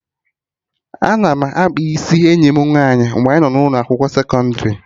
Ana m akpa isi enyi m nwaanyị mgbe anyị nọ ụlọ akwụkwọ sekọndrị